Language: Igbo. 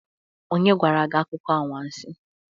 Onye gwara gi akuko anwansi?